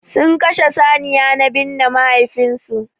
Sun Kashe saniya na binne mahaifin su.